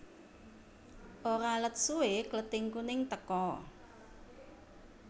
Ora let suwé Klething kuning teka